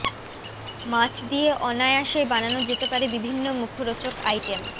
মাছ দিয়ে অনায়াসেই বানানো যেতে পারে বিভিন্ন মুখরোচক আইটেম